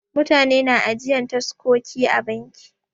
Mutane na ajiyan taskoki a banki.